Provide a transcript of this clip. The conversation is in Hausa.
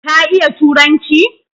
Ka iya Turanci?